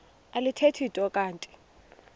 alithethi nto kanti